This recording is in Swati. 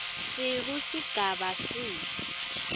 skv sigaba c